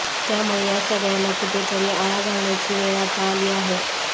त्यामुळे या सगळयाला कुठेतरी आळा घालण्याची वेळ आता आली आहे